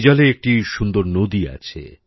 আইজলে একটি সুন্দর নদী আছে